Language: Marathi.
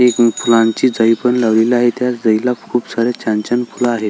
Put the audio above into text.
एक फुलांची जाई पण लावलेली आहे त्या जाई ला खूप सारे छान छान फुलं आहे.